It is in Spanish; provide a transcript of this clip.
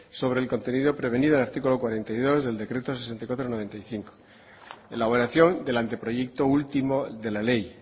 sobre el contenido prevenido en el artículo cuarenta y dos del decreto sesenta y cuatro barra noventa y cinco elaboración del anteproyecto último de la ley